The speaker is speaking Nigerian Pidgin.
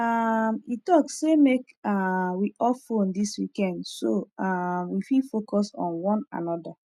um e talk sey make um we off phone this weekend so um we fit focus on wan anoda